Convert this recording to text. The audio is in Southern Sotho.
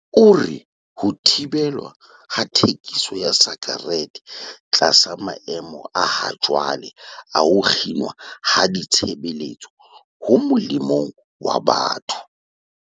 O re ho thibelwa ha thekiso ya sakerete tlasa maemo a hajwale a ho kginwa ha ditshebeletso ho molemong wa batho.